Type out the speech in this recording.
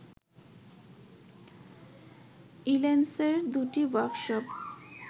ইল্যান্সের দুটি ওয়ার্কশপ